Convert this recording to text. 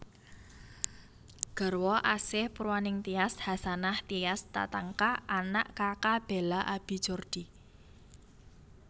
Garwa Asih Purwaningtyas Hasanah Tias Tatanka Anak Kaka Bela Abi Jordi